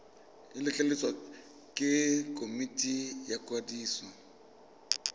letleletswe ke komiti ya ikwadiso